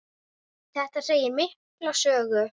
Þetta segir mikla sögu.